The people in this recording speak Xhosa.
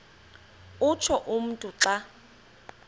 utsho umntu xa